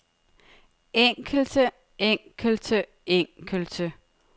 enkelte enkelte enkelte